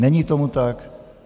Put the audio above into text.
Není tomu tak.